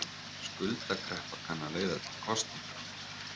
Skuldakreppa kann að leiða til kosninga